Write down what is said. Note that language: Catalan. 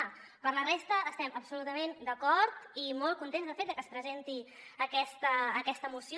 pel que fa a la resta estem absolutament d’acord i molt contents de fet de que es presenti aquesta moció